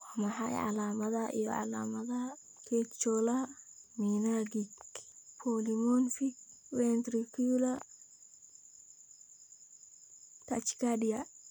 Waa maxay calaamadaha iyo calaamadaha Catecholaminergic polymorphic ventricular tachycardia?